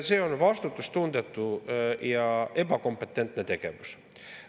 See on vastutustundetu ja ebakompetentne tegevus.